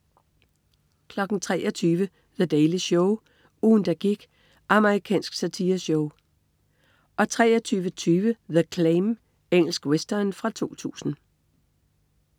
23.00 The Daily Show. Ugen, der gik. Amerikansk satireshow 23.20 The Claim. Engelsk western fra 2000